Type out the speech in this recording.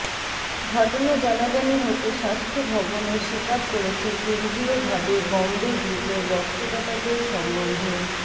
ঘটনা জানাজানি হতে স্বাস্থ্য ভবনও স্বীকার করেছে কেন্দ্রীয় ভাবে বম্বে গ্রুপের রক্তদাতাদের সম্বন্ধে